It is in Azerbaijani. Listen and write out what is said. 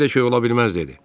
Belə şey ola bilməz dedi.